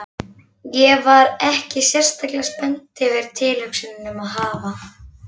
Ég var ekki sérlega spennt yfir tilhugsuninni um að hafa